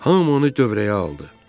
Hamı onu dövrəyə aldı.